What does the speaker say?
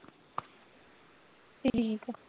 ਠੀਕ ਆ।